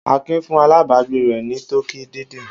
Akin fún alágbàágbé rẹ̀ ní tọkí dídín.